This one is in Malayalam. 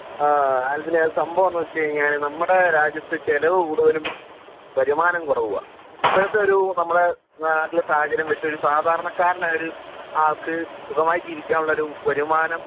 ആഹ് ആൽബിനെ അത് സംഭവം എന്താന്ന് വെച്ച് കഴിഞ്ഞാൽ നമ്മുടെ രാജ്യത്ത് ചെലവ് കൂടുതലും വരുമാനം കുറവുവാ ഇപ്പോഴത്തെ ഒരു നമ്മുടെ നാട്ടിലെ സാഹചര്യം വെച്ച് ഒരു സാധാരണക്കാരനായ ഒരു ആൾക്ക് സുഗമായി ജീവിക്കാൻ ഉള്ള ഒരു വരുമാനം